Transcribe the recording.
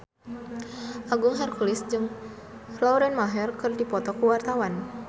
Agung Hercules jeung Lauren Maher keur dipoto ku wartawan